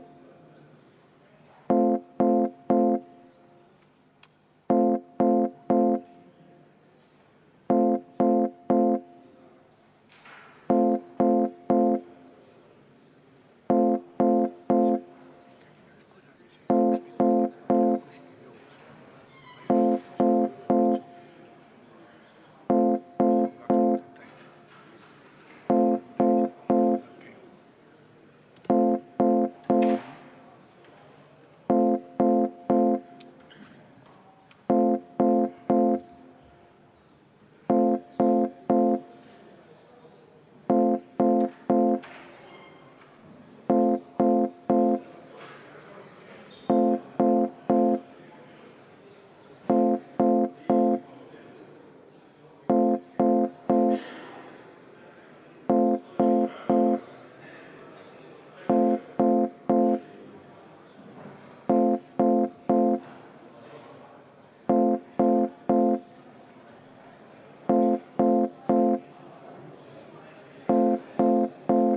Aga nüüd läheme katkestamisettepaneku juurde.